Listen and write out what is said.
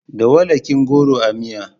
Da walakin goro a miya.